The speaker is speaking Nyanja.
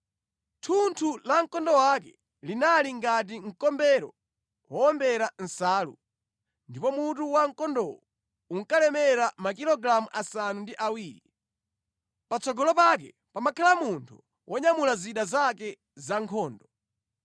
Thunthu la mkondo wake linali ngati mkombero wowombera nsalu, ndipo mutu wa mkondowo unkalemera makilogalamu asanu ndi awiri. Patsogolo pake pamakhala munthu wonyamula zida zake za nkhondo.